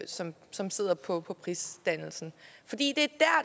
som som sidder på på prisdannelsen